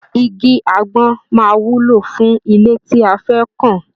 Igi àgbọn máa wúlò fún ilé tí a fẹ́ kàn